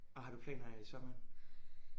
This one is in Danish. Og har du planer i sommeren?